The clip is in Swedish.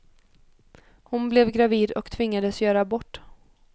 Hon blev gravid och tvingades göra abort.